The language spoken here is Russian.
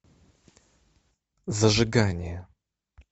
зажигание